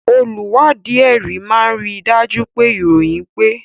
Olùwádìí ẹ̀rí máa rí i dájú pé ìròyìn pé